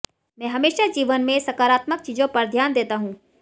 मैं हमेशा जीवन में सकारात्मक चीजों पर ध्यान देता हूं